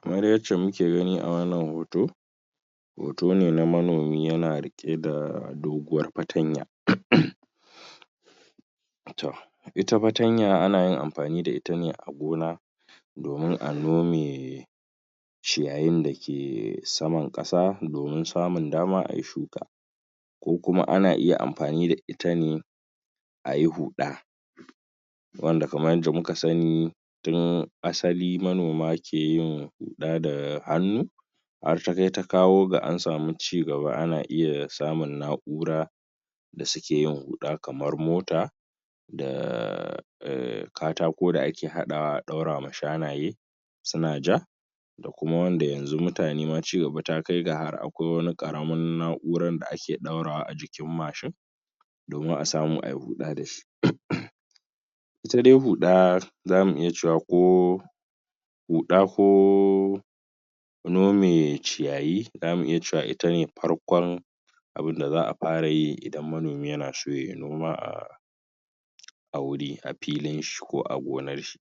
kamar yacce muke gani a wannan hoto, hoto ne na manomi yana rike da doguwar fatanya toh ita fatanya anayin amfani da itane a gona domin a nome ciyayin da ke saman kasa domin samun dama ayi shuka ko kuma ana iya amfani da itane ayi huda wanda kamar yadda muka sani tun asali manoma keyin huda da hannu har takai takawo ga ansamu cigaba ana iya samun na'ura da suken huda kamar mota da um katako da ake hadawa a daurawa shanaye suna ja dakuma wanda yanzu mutane ma cigaba takai har akwai wani karamar na'urar da ake daurawa ajikin mashin domin asamu ayi huda dashi itadai huda zamu iya cewa ko huda ko nome ciyayi zamu iya cewa itane farkon abun da za'a fara yi idan manomi yanaso yayi noma um a wuri a filin shi ko a gonarshi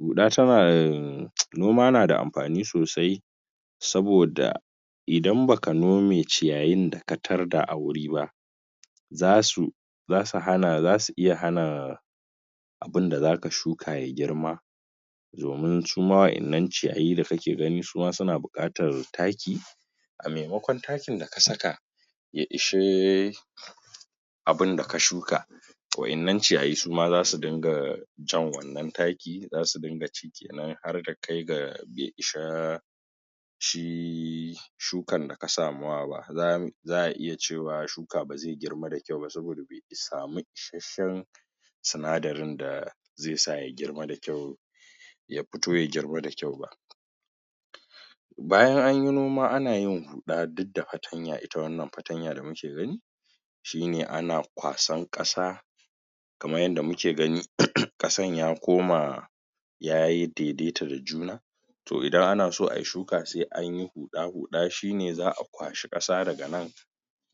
huda tanada um noma nada amfani sosai saboda idan baka nome ciyayin da katarda a wuri ba zasu, zasu hana, zasu iya hana abunda zaka shuka yayi girma domin suma wadannan ciyayi dake gani suma suna bukatar taki a maimakon takin da ka saka ya ishe abun da ka shuka wayan nan ciyayi suma zasu dinga jan wannan taki zasu dinga ci kenan har takai ga bai ishe shi shukan daka samawa ba za'a iya cewa shuka baze girma da kyau ba saboda bai samu isashshen sinadarin da zai sa ya girma da kyau yafito ya girma da kyau ba bayan anyi noma anayi huda duk da fatanya ita wannan fatanya da muke gani shine ana kwasan kasa kamar yadda muke gani kasan ya koma yayi daidaita da juna toh idan anaso ayi shuka sai anyi huda-huda ,shine za'a kwashi kasa daganan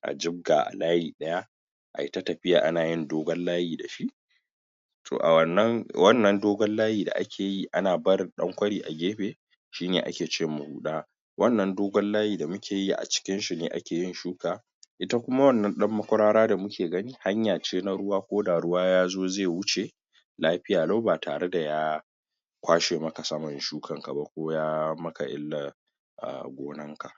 a jibga a layi daya ayi ta tafiya anayin dogon layi dashi toh a wannan, wannan dogon layi da akeyi ana barin dan kwari a gefe shine ake cema huda wannan dogon layi da mukeyi acikinshi ne akeyin shuka ita kuma wannan dan makwarara da muke gani hanyace na ruwa koda ruwa yazo zai wuce lafiya lau batare da ya kwashe maka saman shukan kaba ko ya maka illa a gonan ka.